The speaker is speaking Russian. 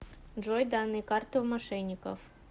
джой данные карты у мошенников